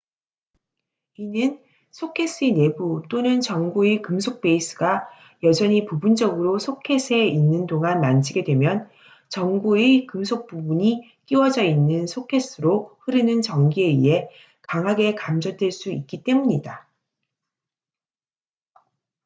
이는 소켓의 내부 또는 전구의 금속 베이스가 여전히 부분적으로 소켓에 있는 동안 만지게 되면 전구의 금속 부분이 끼워져 있는 소켓으로 흐르는 전기에 의해 강하게 감전될 수 있기 때문이다